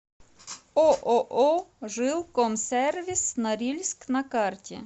ооо жилкомсервис норильск на карте